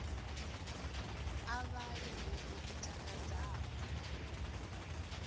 a vhale bugu i takadzaho